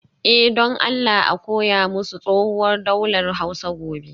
Eh, don Allah a koya musu tsohuwar daular Hausa gobe